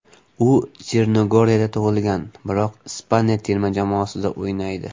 U Chernogoriyada tug‘ilgan, biroq Ispaniya terma jamoasida o‘ynaydi.